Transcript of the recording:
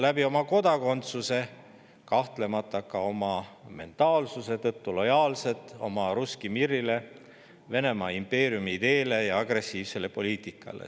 Nad on oma kodakondsuse, aga kahtlemata ka oma mentaalsuse tõttu lojaalsed oma russki mir'ile, Venemaa impeeriumi ideele ja agressiivsele poliitikale.